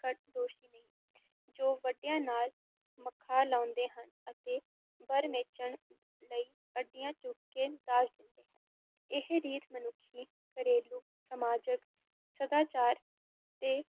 ਘੱਟ ਦੋਸ਼ੀ ਨਹੀਂ, ਜੋ ਵੱਡਿਆਂ ਨਾਲ ਮੱਥਾ ਲਾਉਂਦੇ ਹਨ ਅਤੇ ਬਰ ਮੇਚਣ ਲਈ ਅੱਡੀਆਂ ਚੁੱਕ ਕੇ ਦਾਜ ਦਿੰਦੇ ਹਨ, ਇਹ ਰੀਤ ਮਨੁੱਖੀ, ਘਰੇਲੂ, ਸਮਾਜਕ, ਸਦਾਚਾਰਕ ਤੇ